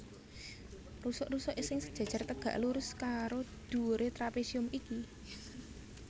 Rusuk rusuk sing sejajar tegak lurus karo dhuwuré trapésium iki